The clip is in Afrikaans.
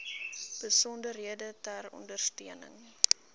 besonderhede ter ondersteuning